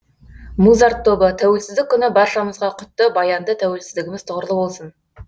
музарт тобы тәуелсіздік күні баршамызға құтты баянды тәуелсіздігіміз тұғырлы болсын